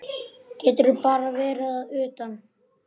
Getur bara verið að utan.